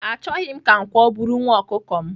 Achoghị m ka nkwọ buru nwa ọkukọ m.